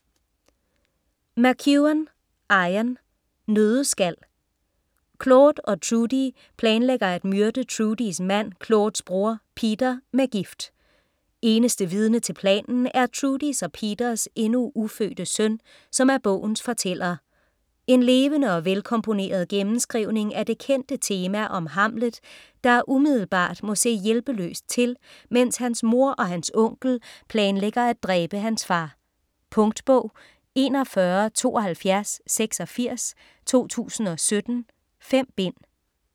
McEwan, Ian: Nøddeskal Claude og Trudy planlægger at myrde Trudys mand, Claudes bror, Peter, med gift. Eneste vidne til planen er Trudys og Peters endnu ufødte søn, som er bogens fortæller. En levende og velkomponeret gennemskrivning af det kendte tema om Hamlet der umiddelbart må se hjælpeløst til mens hans mor og hans onkel planlægger at dræbe hans far. Punktbog 417286 2017. 5 bind.